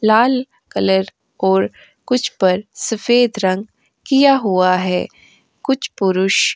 लाल colour और कुछ रंग सफेद रंग किया हुआ है। कुछ पुरुष --